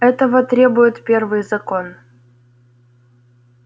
этого требует первый закон